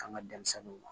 K'an ka denmisɛnninw